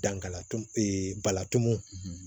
Dankalatu bala tumu